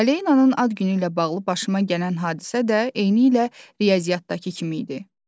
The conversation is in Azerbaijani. Aleyananın ad günü ilə bağlı başıma gələn hadisə də eynilə riyaziyyatdakı kimi idi.